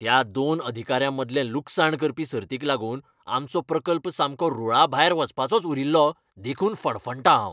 त्या दोन अधिकाऱ्यांमदले लुकसाण करपी सर्तीक लागून आमचो प्रकल्प सामको रूळाभायर वचपाचोच उरील्लो देखून फणफणटां हांव.